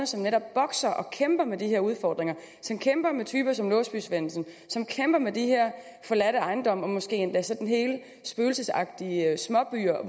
som netop bokser og kæmper med de her udfordringer som kæmper med typer som låsby svendsen og som kæmper med de her forladte ejendomme og måske endda sådan hele spøgelsesagtige småbyer